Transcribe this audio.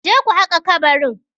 Je ku haƙa kabarin?